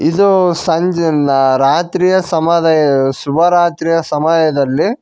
ಇದು ಸಂಜಿನ ರಾತ್ರಿಯ ಸಮದಯ ಶುಭರಾತ್ರಿಯ ಸಮಯದಲ್ಲಿ--